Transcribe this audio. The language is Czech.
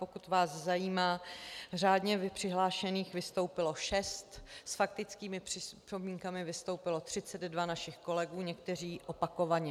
Pokud vás zajímá, řádně přihlášených vystoupilo šest, s faktickými připomínkami vystoupilo 32 našich kolegů, někteří opakovaně.